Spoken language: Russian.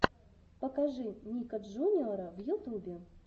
покажи ника джуниора в ютубе